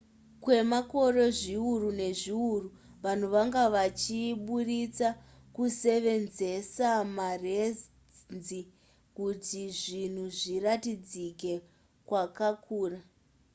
kwemakore zviuru nezviuru vanhu vanga vachiburitsa nekusevenzesa marenzi kuti zvinhu zviratidzike zvakakura